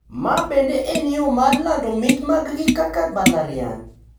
Ma bende en yo mar lando mich maggi kaka mbalariany.